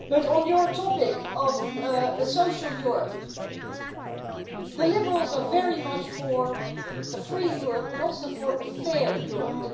On your topic of a social Europe, the Liberals are very much for a free Europe but also for a fair Europe.